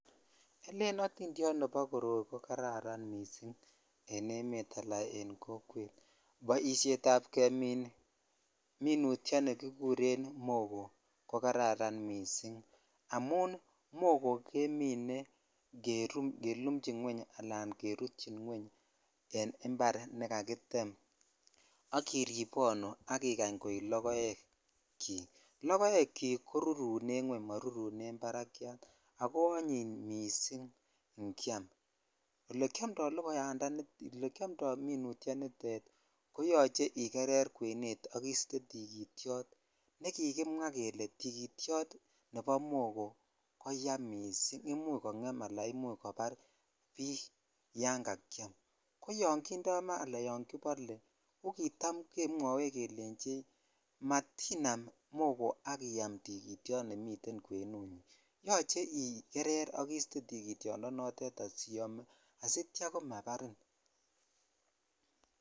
Elen otindiot nebo koroi ko kararan missing en emet ala en kokwet boishoni kemin minutyoni ki kikuren mogoo ko kararan missing amun mogoo kemine ke lumdoi kelimchin ngweng ala kirutyin ngweng en impar ne kakitem ak iribonu ak ikany koi lokek chik lokoek korurunen ngweng ma barkyat ako anyiny missing ikyam olekiomdo lokoyatani ala olekiomdo minutyoni koyoche ketil kwenet sk kisto tikityokltne kikimwa kele tikityot nebo mogoo ko yaa missing imuch kongem alaya kakyam kitam yon kibole ko kitam kelenchech mebal mogoo ak iyam tikityot yoche ikerer ak istee tikityo noton asityo ko mabarin .